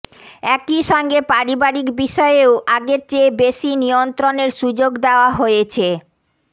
একই সঙ্গে পারিবারিক বিষয়েও আগের চেয়ে বেশি নিয়ন্ত্রণের সুযোগ দেওয়া হয়েছে